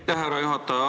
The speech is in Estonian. Aitäh, härra juhataja!